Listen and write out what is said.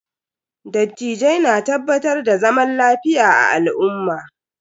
Dattijai na tabbatar da zaman lafiya a al'umma.